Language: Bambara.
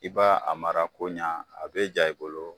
I b'a a mara koɲa a be ja i bolo